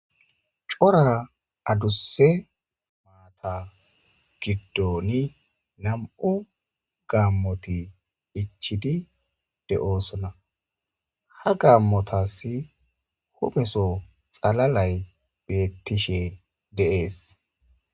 Cora adusse maata giddoni nam'u gaammoti ichidi de'oosona ha gaammotas hupeso xalalay bettishe de'ees.